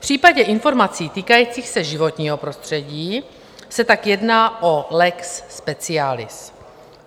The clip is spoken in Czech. V případě informací týkajících se životního prostředí se tak jedná o lex specialis.